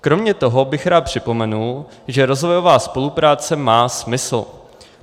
Kromě toho bych rád připomenul, že rozvojová spolupráce má smysl.